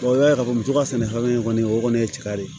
i b'a ye k'a fɔ muso ka sɛnɛfɛn kɔni o kɔni ye cɛ ka di ye